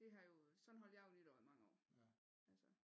Det har jo sådan holdt jeg jo nytår i mange år altså